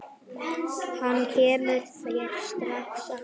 Hann kemur þér strax að.